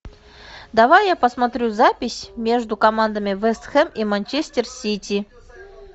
давай я посмотрю запись между командами вест хэм и манчестер сити